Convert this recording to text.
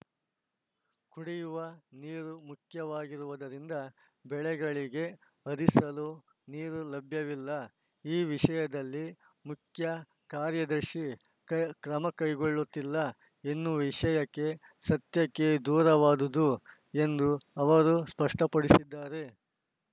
ಕುಡಿಯುವ ನೀರು ಮುಖ್ಯವಾಗಿರುವುದರಿಂದ ಬೆಳೆಗಳಿಗೆ ಹರಿಸಲು ನೀರು ಲಭ್ಯವಿಲ್ಲ ಈ ವಿಷಯದಲ್ಲಿ ಮುಖ್ಯ ಕಾರ್ಯದರ್ಶಿ ಕ ಕ್ರಮಕೈಗೊಳ್ಳುತ್ತಿಲ್ಲ ಎನ್ನುವ ವಿಷಯ ಸತ್ಯಕ್ಕೆ ದೂರವಾದುದು ಎಂದು ಅವರು ಸ್ಪಷ್ಟಪಡಿಸಿದ್ದಾರೆ